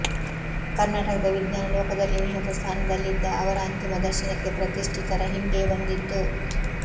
ಕರ್ನಾಟಕದ ವಿಜ್ಞಾನ ಲೋಕದಲ್ಲಿ ಉನ್ನತ ಸ್ಥಾನದಲ್ಲಿದ್ದ ಅವರ ಅಂತಿಮ ದರ್ಶನಕ್ಕೆ ಪ್ರತಿಷ್ಠಿತರ ಹಿಂಡೇ ಬಂದಿತ್ತು